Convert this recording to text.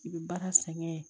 I bɛ baara sɛgɛn